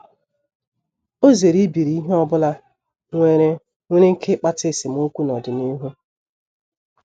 Ọ zere ibiri ihe ọ bụla nwere nwere ike ịkpata esemokwu n’ọdịnihu.